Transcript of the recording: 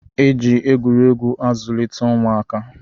E ji egwuregwu azụlite ụmụaka